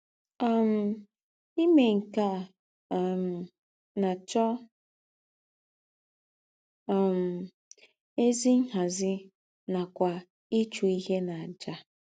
um Ìmé nke a um na - achọ um ézì nhàzí nàkwà ịchụ íhè n’àjà.